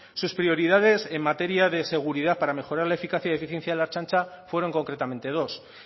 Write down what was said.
sus prioridades en materia de seguridad para mejorar la eficacia y eficiencia en la ertzaintza fueron concretamente dos